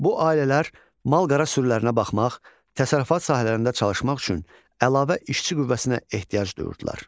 Bu ailələr malqara sürülərinə baxmaq, təsərrüfat sahələrində çalışmaq üçün əlavə işçi qüvvəsinə ehtiyac duyurdular.